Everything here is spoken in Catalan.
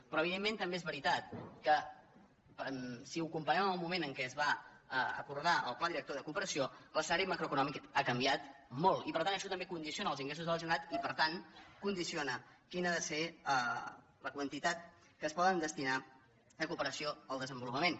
però evidentment també és veritat que si ho comparem amb el moment en què es va acordar el pla director de cooperació l’escenari macroeconòmic ha canviat molt i per tant això també condiciona els ingressos de la gene ralitat i per tant condiciona quina ha de ser la quantitat que es pot destinar a cooperació al desenvolu pament